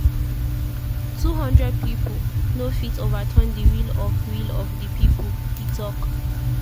“two-hundred pipo no fit overturn di will of will of di pipo” e tok.